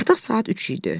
Artıq saat üç idi.